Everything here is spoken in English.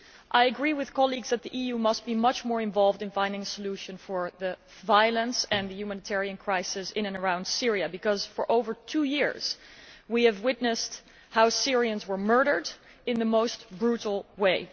I agree with colleagues that the EU must be much more involved in finding a solution to the violence and the humanitarian crisis in and around Syria, because for over two years we have witnessed how Syrians have been murdered in the most brutal way.